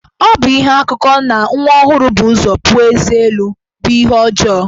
Ọ bụ ihe akụkọ na nwa ọhụrụ bu ụzọ puo ezé elu bụ ihe ọjọọ.